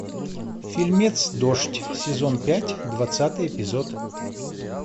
фильмец дождь сезон пять двадцатый эпизод